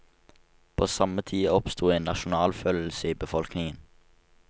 På samme tid oppstod en nasjonalfølelse i befolkningen.